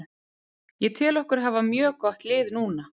Ég tel okkur hafa mjög gott lið núna.